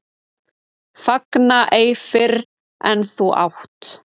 Fagna ei fyrr en þú átt.